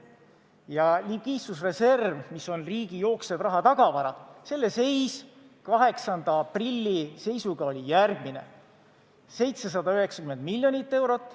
Ja likviidsusreserv, mis on riigi jooksev rahatagavara, selle seis oli 8. aprilli seisuga 790 miljonit eurot.